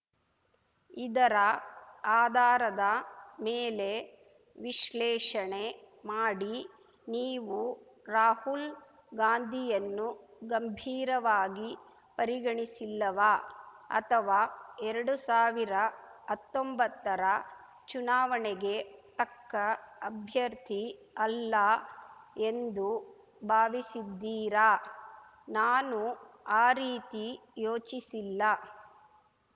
ಇದರ ಆಧಾರದ ಮೇಲೆ ವಿಶ್ಲೇಷಣೆ ಮಾಡಿ ನೀವು ರಾಹುಲ್‌ ಗಾಂಧಿಯನ್ನು ಗಂಭೀರವಾಗಿ ಪರಿಗಣಿಸಿಲ್ಲವಾ ಅಥವಾ ಎರಡು ಸಾವಿರದ ಹತ್ತೊಂಬತ್ತರ ಚುನಾವಣೆಗೆ ತಕ್ಕ ಅಭ್ಯರ್ಥಿ ಅಲ್ಲ ಎಂದು ಭಾವಿಸಿದ್ದೀರಾ ನಾನು ಆ ರೀತಿ ಯೋಚಿಸಿಲ್ಲ